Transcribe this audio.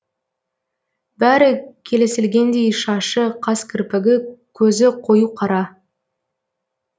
бәрі келісілгендей шашы қас кірпігі көзі қою қара